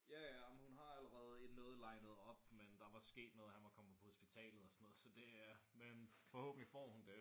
Ja ja jamen hun har allerede en noget linet op men der var sket noget. Han var kommet på hospitalet og sådan noget så det men forhåbentlig får hun det